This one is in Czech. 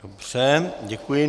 Dobře, děkuji.